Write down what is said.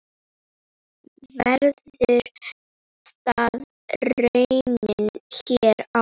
Verður það raunin hér á?